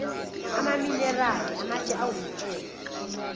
amaminerali amatshe awumcebo